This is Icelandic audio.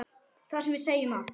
þar sem við segjum að